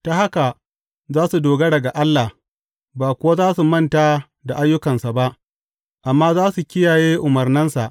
Ta haka za su dogara ga Allah ba kuwa za su manta da ayyukansa ba amma za su kiyaye umarnansa.